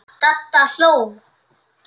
Dadda hló.